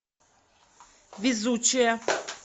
везучая